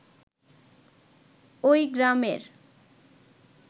ওই গ্রামের